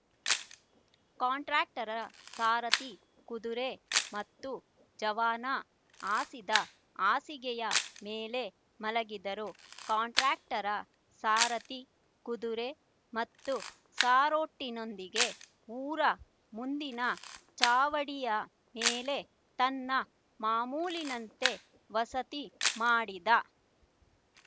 ಕಂಟ್ರಾಕ್ಟರ ಸಾರಥಿ ಕುದುರೆ ಮತ್ತು ಜವಾನ ಹಾಸಿದ್ದ ಹಾಸಿಗೆಯ ಮೇಳೆ ಮಲಗಿದರು ಕಂಟ್ರಾಕ್ಟರ ಸಾರಥಿ ಕುದುರೆ ಮತ್ತು ಸಾರೋಟಿನೊಂದಿಗೆ ಊರ ಮುಂದಿನ ಚಾವಡಿಯ ಮೇಲೆ ತನ್ನ ಮಾಮೂಲಿನಂತೆ ವಸತಿ ಮಾಡಿದ